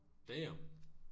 Damn